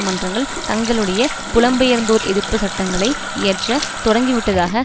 மன்றங்கள் தங்களுடைய புலம்பெயர்ந்தோர்எதிர்ப்புச் சட்டங்களை இயற்ற தொடங்கிவிட்டதாக